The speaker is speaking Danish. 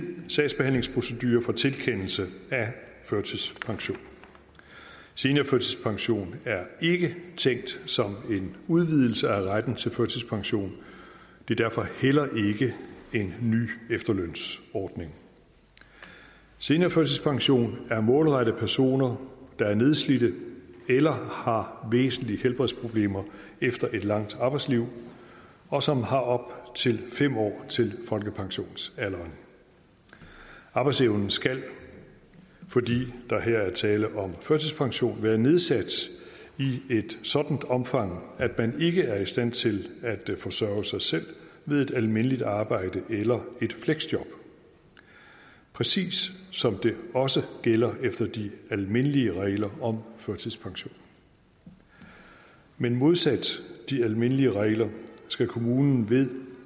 sagsbehandlingsprocedure for tilkendelse af førtidspension seniorførtidspension er ikke tænkt som en udvidelse af retten til førtidspension det er derfor heller ikke en ny efterlønsordning seniorførtidspension er målrettet personer der er nedslidte eller har væsentlige helbredsproblemer efter et langt arbejdsliv og som har op til fem år til folkepensionsalderen arbejdsevnen skal fordi der her er tale om førtidspension være nedsat i et sådant omfang at man ikke er i stand til at forsørge sig selv ved et almindeligt arbejde eller et fleksjob præcis som det også gælder efter de almindelige regler om førtidspension men modsat de almindelige regler skal kommunen ved